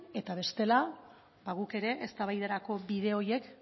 eta bestela ba guk ere eztabaidarako bide horiek